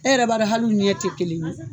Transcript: E yɛrɛ b'a dɔn hal'u ɲɛ tɛ kelen ye.